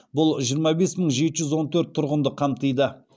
бұл жиырма бес мың жеті жүз он төрт тұрғынды қамтиды